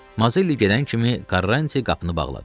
Mazelli gedən kimi Qarranti qapını bağladı.